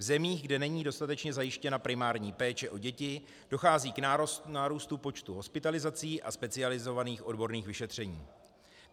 V zemích, kde není dostatečně zajištěna primární péče o děti, dochází k nárůstu počtu hospitalizací a specializovaných odborných vyšetření.